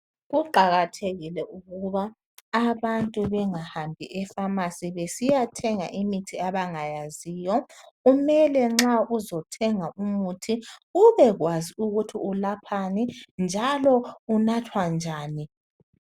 Kuqakathekile ukuba abantu bengahambi ephamacy besiyathenga imithi abangayaziyo kumele nxa uzathenga umuthi ubekwazi ukuthi ulaphani njalo unathwa njani